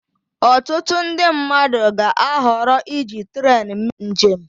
Ọtụtụ ndị mmadụ ga-ahọrọ iji trén mee njem